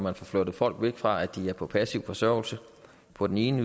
at få flyttet folk væk fra at være på passiv forsørgelse på den ene